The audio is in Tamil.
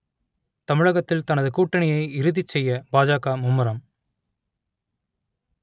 தமிழகத்தில் தனது கூட்டணியை இறுதிச்செய்ய பாஜக மும்முரம்